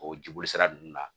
O jibolisira ninnu na